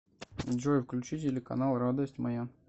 джой включи телеканал радость моя